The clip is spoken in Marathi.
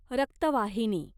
रक्तवाहिनी